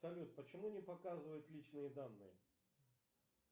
салют почему не показывает личные данные